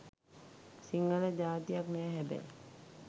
සිංහල ජාතියක් නැහැ හැබැයි